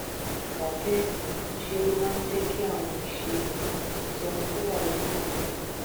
kàkà béè ńṣe ló máa ń jé kí àwọn ìṣe rè sọ ohun tó wà lókàn rè